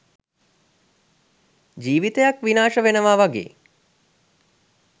ජීවිතයක් විනාශ වෙනවා වගේ